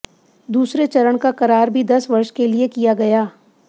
दूसरे चरण का करार भी दस वर्ष के लिए किया गया